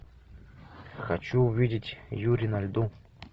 хочу увидеть юри на льду